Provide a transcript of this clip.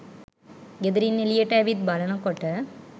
ගෙදරින් එළියට ඇවිත් බලනකොට